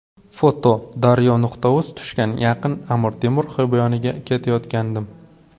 foto: daryo.uz Tushga yaqin Amir Temur xiyoboniga ketayotgandim.